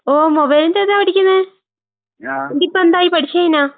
ഓഹ് മൊബൈൽന്റിതാ പഠിക്കുന്നേ? എന്നിട്ടിപ്പെന്തായി പഠിച്ച് കഴിഞ്ഞാ?